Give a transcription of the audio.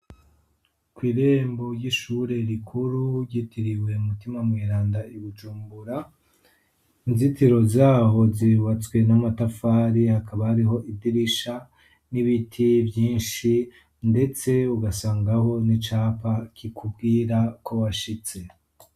Kw'irembo ry'ishure rikuru ry'itiriwe umutima Mweranda I Bujumbura. inzitiro zaho zibatswe n'amatafari hakaba ariho idirisha n'ibiti byinshi ndetse ugasangaho n'icapa kikubwira ko washitse.